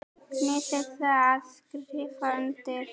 Nennirðu að skrifa undir?